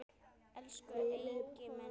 Elsku Eiki minn.